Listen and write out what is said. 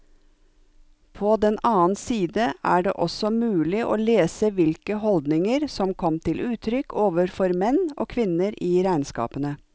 På den annen side er det også mulig å lese hvilke holdninger som kom til uttrykk overfor menn og kvinner i regnskapene.